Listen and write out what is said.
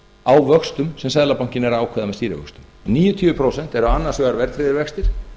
á vöxtum sem seðlabankinn er að ákveða með stýrivöxtum níutíu prósent eru annars vegar verðtryggðir vextir